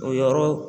O yɔrɔ